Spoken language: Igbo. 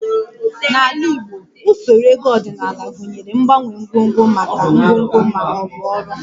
N'ala Igbo, usoro ego ọdịnala gụnyere mgbanwe ngwongwo maka ngwongwo ma ọ bụ ọrụ